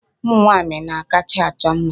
Ụmụ nwaanyị na-akacha achọ mma.